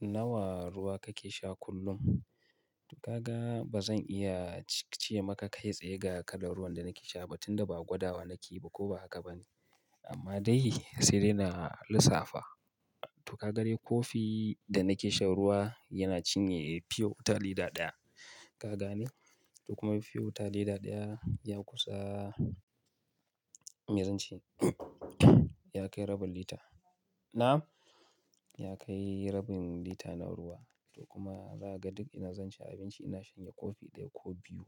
Nawa ruwa kake sha kullum? Kaga bazan iya ce maka kai tsaye ga kalar ruwan danake sha ba, tunda ba gwadawa nakeyi ba koba haka bane. Amma dai sai dai na lissafa. To kaga dai kofi danake shan ruwa yana cinye feyota lita ɗaya. Ka gane? To kuma feyota lita ɗaya ya kusa, mezan ce? Yakai rabin lita. Na'am? Yakai rabin lita na ruwa. To kuma zaka ga duk ina zanci abinci ina shanye kofi ɗaya ko biyu.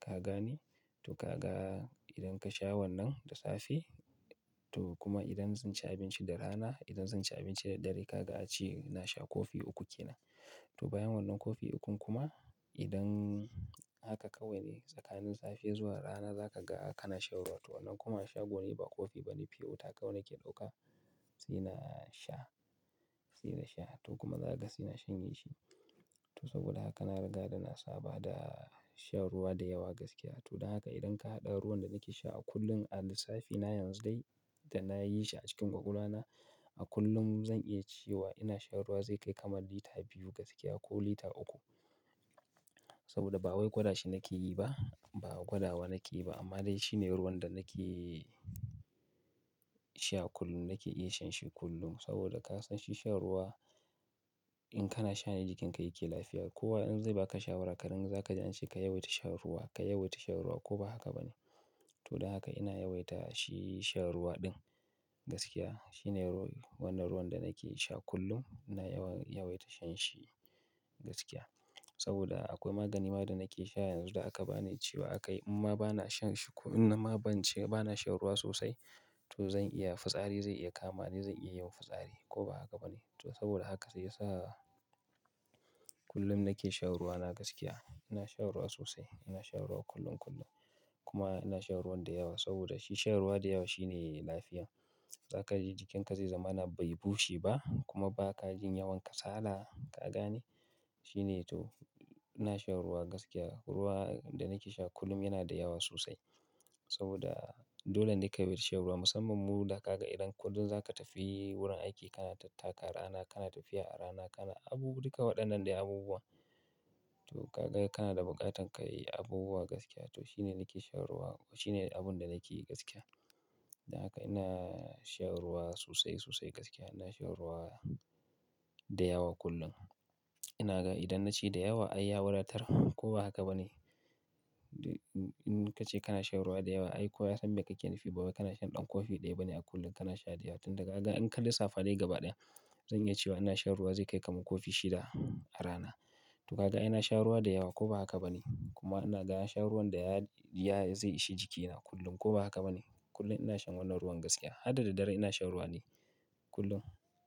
Ka gane? To kaga idan kasha wannan da safe to kuma idan zanci abinci da rana, idan zanci abinci da dare kaga ace nasha kofi uku kenan. To bayan wannan kofi ukun kuma idan haka kawaine tsakanin safe zuwa rana za kaga kanashan ruwa. To wannan kuma shagone ba kofi bane feyota kawai nake ɗauka sai nasha, sai nasha. To kuma za kaga saina shanyeshi. To saboda haka na riga dana saba dashan ruwa da yawa gaskiya. To don haka idan kahaɗa ruwan da nake sha a kullum a lissafi na yanzu dai da nayishi acikin ƙwakwalwana, a kullum zan iya cewa inashan ruwa zai kai kamar lita biyu gaskiya ko lita uku. Saboda ba wai gwada shi nakeyi ba, ba gwadawa nakeyi ba amma dai shine ruwan danake sha kullum, nake iya shanshi kullum. Saboda kasan shi shan ruwa in kana shane jikinka yake lafiya. Kowa in zai baka shawarar karen zakaji ance ka yawaita shan ruwa, ka yawaita shan ruwa koba haka bane. To don haka ina yawaita shi shan ruwa ɗin gaskiya. Shine ru-- wannan ruwan danake sha kullum ina yawa-yawaita shanshi gaskiya. Saboda akwai magani ma danake sha yanzu da aka bani cewa akai imma bana shanshi ko in nama bance bana sha ruwa sosai to zan iya fitsari zai iya kamani, zan iyayin fitsari koba haka bane. To saboda haka sai yasa kullum nake shan ruwa na gaskiya. Ina shan ruwa sosai, ina shan ruwa kullum kullum. Kuma ina shan ruwan dayawa saboda shi shan ruwa da lyawa shine lafiya. Za kaji jikinka zai zamana bai bushe ba kuma baka jin yawan kasala. Ka gane? Shine to ina shan ruwa gaskiya. Ruwa danake sha kullum yana dayawa sosai. Saboda dolene ka yawaita shan ruwa musamman mu da kaga idan ko duk zaka tafi wurin aiki kana tattaka rana, kana tafiya a rana, kana abubu-- duka waɗannan dai abubuwa. To kaga kanada buƙatar kayi abubuwa gaskiya to shine nake shan ruwa, shine abunda nakeyi gaskiya. Don haka ina shan ruwa sosai sosai gaskiya. Ina shan ruwa da yawa kullum. Inaga idan naci dayawa ai ya wadatar koba haka bane. In kace kana shan ruwa da yawa ai kowa yasan mai kake nufi bawai kana shan ɗan kofi ɗaya bane a kullum kana sha dayawa. Tunda kaga in ka lissafa dai gaba ɗaya zan iya cewa ina shan ruwa zai kai kamar kofi shida a rana. To kaga ai nasha ruwa dayawa koba haka bane. Kuma ina ga shan ruwan da ya-ya zai ishe jikina kullum koba haka bane. Kullum ina shan wannan ruwan gaskiya. Hadda da dare inashan ruwane kullum.